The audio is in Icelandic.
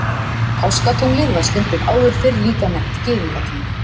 Páskatunglið var stundum áður fyrr líka nefnt Gyðingatungl.